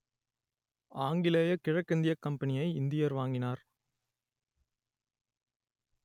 ஆங்கிலேயக் கிழக்கிந்தியக் கம்பெனியை இந்தியர் வாங்கினார்